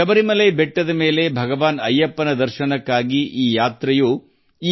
ಶಬರಿಮಲೆಯ ಬೆಟ್ಟಗಳ ಮೇಲಿರುವ ಭಗವಾನ್ ಅಯ್ಯಪ್ಪನ ದರ್ಶನಕ್ಕಾಗಿ ಈ ಯಾತ್ರೆಯು ನಡೆಯುತ್ತದೆ